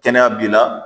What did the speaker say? Kɛnɛya b'i la